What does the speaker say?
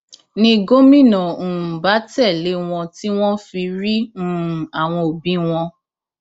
ni gómìnà um bá tẹlé wọn tí wọn fi rí um àwọn òbí wọn